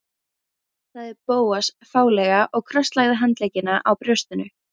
Sæll sagði Bóas fálega og krosslagði handleggina á brjóstinu.